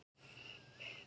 Það var sagan af Litla